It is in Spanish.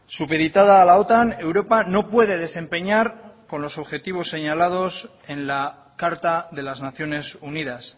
supeditada a la otan europa no puede desempeñar con los objetivos señalados en la carta de las naciones unidas